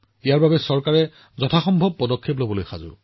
ইয়াৰ বাবে চৰকাৰে সকলো সম্ভৱ পদক্ষেপ গ্ৰহণ কৰি আছে